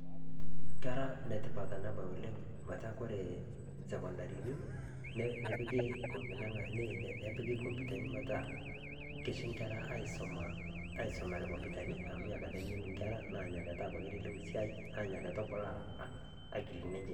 Kera netipaat ana baaya oleng meeta kore sekondarini neepiki, neepiki kompyutani peetaa keshee nkerra aisoma aisomeare kompyutani amu enia kaata eng'enu nkerra. Naa enia kaata eleleku siai naa enia kaata epulaa akilini enchee.